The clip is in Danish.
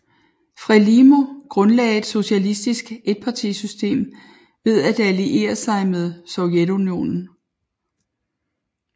FRELIMO grundlagde et socialistisk etpartisystem ved at alliere sig med Sovjetunionen